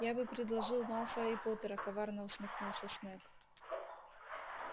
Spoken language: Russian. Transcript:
я бы предложил малфоя и поттера коварно усмехнулся снегг